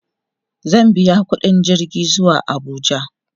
zai biya ƙuɗin jirgi zuwa Abuja